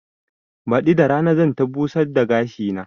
Baɗi da rana zan ta busar da gashi na